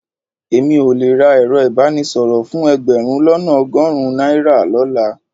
Èmi ò le ra ẹ̀rọ ìbánisọ̀rọ̀ fún ẹgbẹ̀rún lọ́nà ọgọ́rùn-ún náírà lọ́la